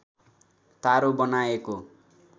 तारो बनाएको